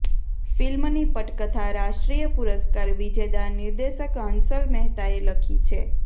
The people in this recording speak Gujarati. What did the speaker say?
ફિલ્મની પટકથા રાષ્ટ્રીય પુરસ્કાર વિજેદા નિર્દેશક હંસલ મહેતાએ લખી છે